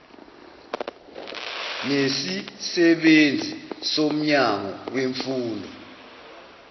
nesisebenzi somnyango wemfundo